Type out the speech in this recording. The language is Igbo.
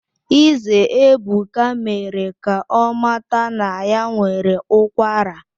Ize Ebuka mere ka ọ mata na ya nwere ụkwara